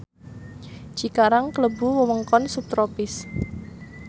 Cikarang klebu wewengkon subtropis